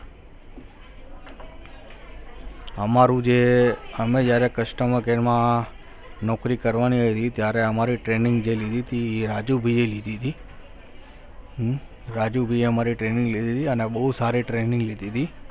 અમારું જે અમે જ્યારે customer care માં નોકરી કરવાની ત્યારે અમારી training જે લીધી તી એ રાજુભાઈ એ લીધી હતી રાજુભાઈ એ અમારી training લીધી હતી અને બહુ સારી training લીધી હતી.